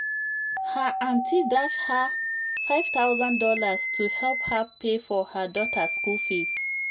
her aunty dash her five thousand dollars to help her pay for her daughter school fees